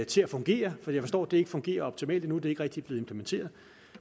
til at fungere for jeg forstår at det ikke fungerer optimalt endnu at det ikke rigtig er blevet implementeret